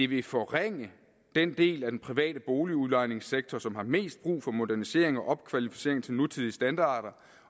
vil forringe den del af den private boligudlejningssektor som har mest brug for modernisering og opkvalificering til nutidige standarder